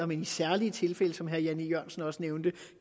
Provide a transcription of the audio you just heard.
men i særlige tilfælde som herre jan e jørgensen også nævnte